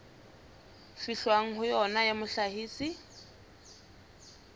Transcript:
fihlwang ho yona ya mohlahisi